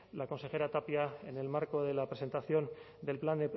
la consejera tapia en el marco de la presentación del plan